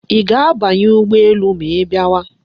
Ị ga-abanye ụgbọ elu ma ị bịawa.